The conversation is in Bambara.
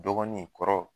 Dɔgɔnin kɔrɔ